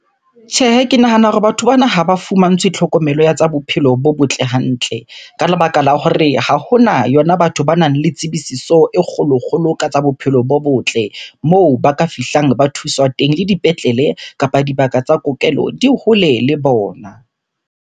Tjhehe, ke nahana hore batho bana ha ba fumantshwe tlhokomelo ya tsa bophelo bo botle hantle. Ka lebaka la hore ha hona yona batho banang le tsebisiso e kgolo-kgolo ka tsa bophelo bo botle, moo ba ka fihlang ba thuswa teng le dipetlele. Kapa dibaka tsa kokelo di hole le bona.